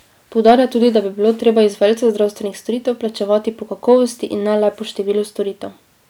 Poudarja tudi, da bi bilo treba izvajalce zdravstvenih storitev plačevati po kakovosti in ne le po številu storitev.